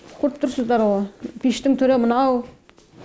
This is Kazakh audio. көріп тұрсыздар ғо пештің түрі мынау